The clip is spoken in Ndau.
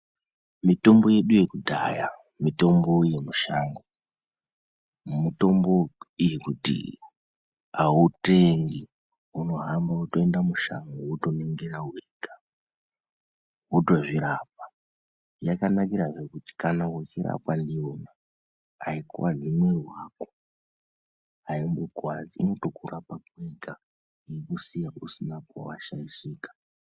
Mitombo yedu yekudhaya nemitombo yedu yemushango, mitombo yekuti autengi unohambe wotoende mushango wotoningira wega wotozvirapa. Yakanakirahe kuti kana uchirapwa ndiyona aikuwadzi muiri wako, aikukuwadzi inotokurapa kwega yeikusiya usina pawashaishika